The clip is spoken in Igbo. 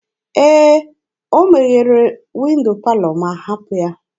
Ee, ọ meghere windo palọ ma hapụ ya.